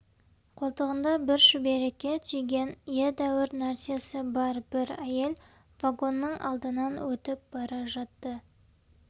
қолтығында бір шүберекке түйген едәуір нәрсесі бар бір әйел вагонның алдынан өтіп бара жатты